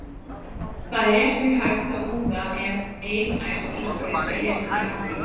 Það er því hægt að úða ef einært illgresi er í akrinum.